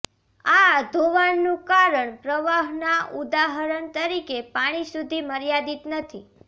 આ ધોવાણનું કારણ પ્રવાહના ઉદાહરણ તરીકે પાણી સુધી મર્યાદિત નથી